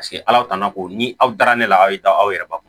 Paseke ala tanna ko ni aw dara ne la a ye daw yɛrɛba